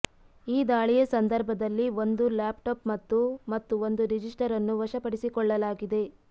ಈ ದಾಳಿಯ ಸಂದರ್ಭದಲ್ಲಿ ಒಂದು ಲ್ಯಾಪ್ ಟಾಪ್ ಮತ್ತು ಮತ್ತು ಒಂದು ರಿಜಿಸ್ಟರ್ ಅನ್ನು ವಶಪಡಿಸಿಕೊಳ್ಳಲಾಗಿದೆ